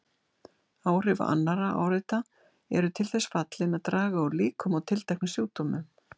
Áhrif annarra áreita eru til þess fallin að draga úr líkum á tilteknum sjúkdómum.